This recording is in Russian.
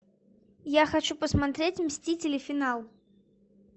я хочу посмотреть мстители финал